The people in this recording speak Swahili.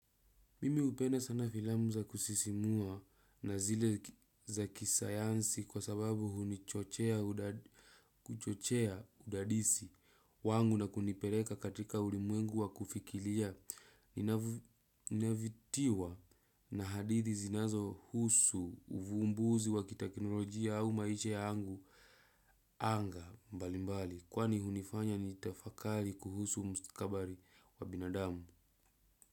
Mimi hupenda sana filamu za kusisimua na zile za kisayansi kwa sababu hunichochea udadisi wangu na kunipeleka katika ulimwengu wa kufikiria. Ninavutiwa na hadithi zinazo husu uvumbuzi wa kiteknolojia au maisha yangu anga mbali mbali kwani hunifanya nitafakari kuhusu mstakabali wa binadamu.